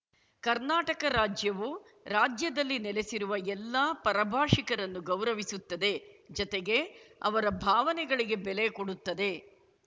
ಕರ್ನಾಟಕ ರಾಜ್ಯವು ರಾಜ್ಯದಲ್ಲಿ ನೆಲೆಸಿರುವ ಎಲ್ಲಾ ಪರಭಾಷಿಕರನ್ನೂ ಗೌರವಿಸುತ್ತದೆ ಜತೆಗೆ ಅವರ ಭಾವನೆಗಳಿಗೆ ಬೆಲೆ ಕೊಡುತ್ತದೆ